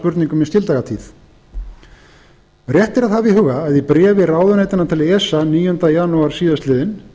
spurningum í skildagatíð rétt er að hafa í huga að í bréfi ráðuneytanna til esa níunda janúar síðastliðinn